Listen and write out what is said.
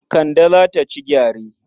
Kande za ta ci gyare.